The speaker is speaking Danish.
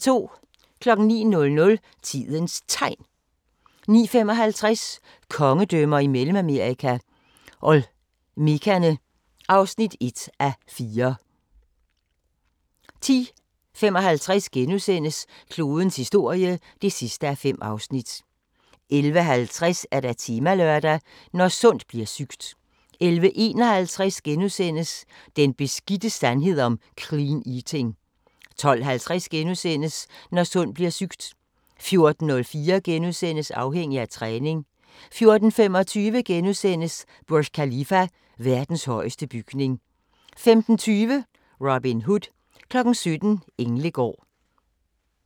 09:00: Tidens Tegn 09:55: Kongedømmer i Mellemamerika – Olmekerne (1:4) 10:55: Klodens historie (5:5)* 11:50: Temalørdag: Når sundt bliver sygt 11:51: Den beskidte sandhed om "clean eating" * 12:50: Når sundt bliver sygt * 14:04: Afhængig af træning * 14:25: Burj Khalifa: Verdens højeste bygning * 15:20: Robin Hood 17:00: Englegård